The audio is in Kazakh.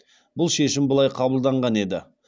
бұл шешім былай қабылданған еді